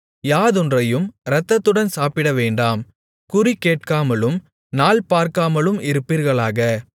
யாதொன்றையும் இரத்தத்துடன் சாப்பிடவேண்டாம் குறிகேட்காமலும் நாள்பார்க்காமலும் இருப்பீர்களாக